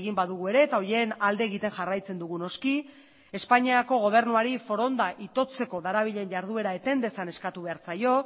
egin badugu ere eta horien alde egiten jarraitzen dugu noski espainiako gobernuari foronda itotzeko darabilen jarduera eten dezan eskatu behar zaio